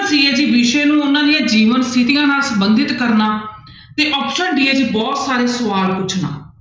c ਹੈ ਜੀ ਵਿਸ਼ੇ ਨੂੰ ਉਹਨਾਂ ਦੀਆਂ ਜੀਵਨ ਸਥਿੱਤੀਆਂ ਨਾਲ ਸੰਬੰਧਤ ਕਰਨਾ ਤੇ option d ਹੈ ਜੀ ਬਹੁਤ ਸਾਰੇ ਸਵਾਲ ਪੁੱਛਣਾ।